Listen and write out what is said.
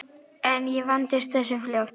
En ég vandist þessu fljótt.